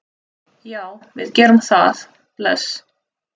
Já, við gerum það. Bless.